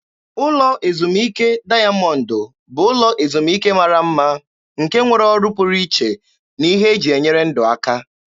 Ụlọ ezumike dayamọndụ bụ ụlọ ezumike mara mma nke nwere ọrụ pụrụ iche na ihe eji enyere ndụ aka.